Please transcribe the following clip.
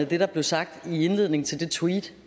det der blev sagt i indledningen til det tweet